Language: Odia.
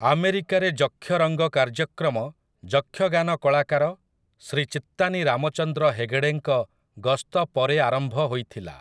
ଆମେରିକାରେ 'ଯକ୍ଷରଙ୍ଗ' କାର୍ଯ୍ୟକ୍ରମ ଯକ୍ଷଗାନ କଳାକାର ଶ୍ରୀ ଚିତ୍ତାନୀ ରାମଚନ୍ଦ୍ର ହେଗେଡ଼େଙ୍କ ଗସ୍ତ ପରେ ଆରମ୍ଭ ହୋଇଥିଲା ।